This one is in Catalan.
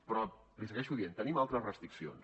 però l’hi segueixo dient tenim altres restriccions